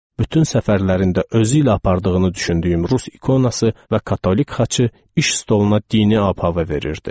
Bütün səfərlərində özü ilə apardığını düşündüyü rus ikonası və katolik xaçı iş stoluna dini ab-hava verirdi.